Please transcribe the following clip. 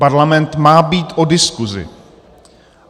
Parlament má být o diskuzi.